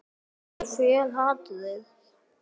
Ég fel hatrið.